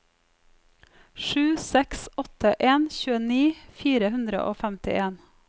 sju seks åtte en tjueni fire hundre og femtien